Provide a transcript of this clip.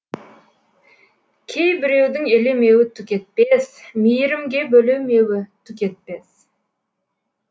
кей біреудің елемеуі түк етпес мейірімге бөлемеуі түк етпес